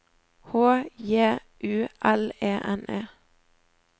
H J U L E N E